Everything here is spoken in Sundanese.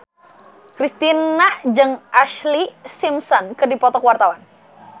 Kristina jeung Ashlee Simpson keur dipoto ku wartawan